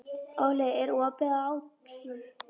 Óli, er opið í ÁTVR?